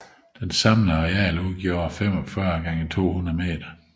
Det samlede areal udgjorde 45 x 200 m